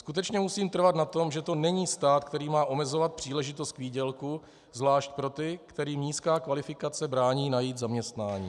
Skutečně musím trvat na tom, že to není stát, který má omezovat příležitost k výdělku, zvlášť pro ty, kterým nízká kvalifikace brání najít zaměstnání.